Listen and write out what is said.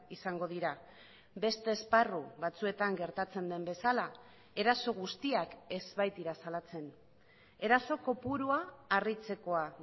izango dira beste esparru batzuetan gertatzen den bezala eraso guztiak ez baitira salatzen eraso kopurua harritzekoa